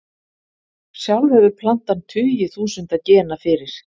sjálf hefur plantan tugi þúsunda gena fyrir